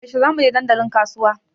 Yaushe za mu je dandalin kasuwa?